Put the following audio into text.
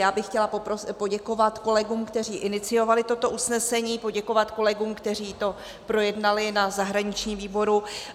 Já bych chtěla poděkovat kolegům, kteří iniciovali toto usnesení, poděkovat kolegům, kteří to projednali na zahraničním výboru.